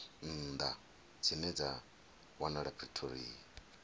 nnḓa dzine dza wanala pretoria